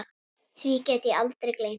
Því get ég aldrei gleymt.